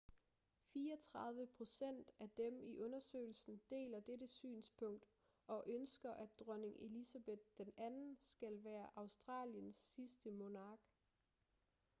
34 procent af dem i undersøgelsen deler dette synspunkt og ønsker at dronning elizabeth ii skal være australiens sidste monark